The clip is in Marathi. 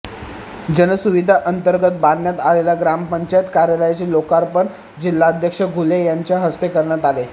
जनसुविधा अंतर्गत बांधण्यात आलेल्या ग्रामपंचायत कार्यालयाचे लोकार्पण जिल्हाध्यक्ष घुले यांच्या हस्ते करण्यात आले